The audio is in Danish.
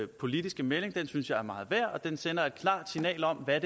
politiske melding synes jeg er meget værd og den sender et klart signal om hvad